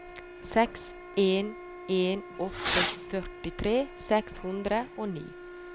seks en en åtte førtitre seks hundre og ni